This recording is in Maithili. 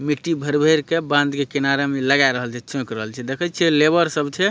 मिट्टी भर-भर के बांध के किनारे में लगा रहले छे चौक रहले छे देखये छे लेबर सब छे।